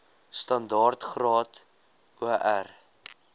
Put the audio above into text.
standaard graad or